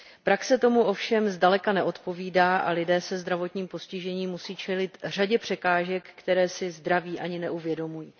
Praxe tomu ovšem zdaleka neodpovídá a lidé se zdravotním postižením musí čelit řadě překážek, které si zdraví lidé ani neuvědomují.